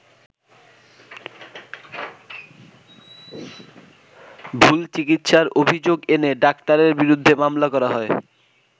ভুল চিকিৎসার অভিযোগ এনে ডাক্তারের বিরুদ্ধে মামলা করা হয়।